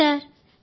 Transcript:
అవును సార్